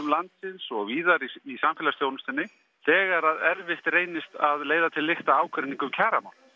landsins og víðar í samfélagsþjónustunni þegar erfitt reynist að leiða til lykta ágreining um kjaramál